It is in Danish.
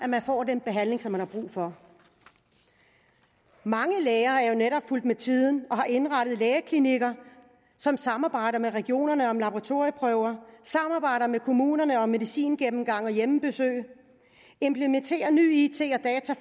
man får den behandling man har brug for mange læger er jo netop fulgt med tiden og har indrettet lægeklinikker som samarbejder med regionerne om laboratorieprøver samarbejder med kommunerne om medicingennemgang og hjemmebesøg implementerer ny it